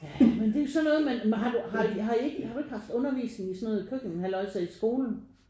Ja men det er jo sådan noget man har du har I ikke har du ikke haft undervisning i sådan noget køkken halløjsa i skolen?